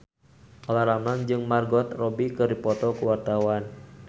Olla Ramlan jeung Margot Robbie keur dipoto ku wartawan